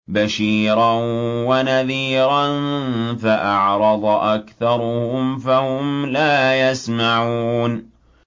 بَشِيرًا وَنَذِيرًا فَأَعْرَضَ أَكْثَرُهُمْ فَهُمْ لَا يَسْمَعُونَ